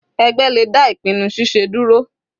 Ẹgbẹ́ le dá ìpinnu ṣiṣe dúró.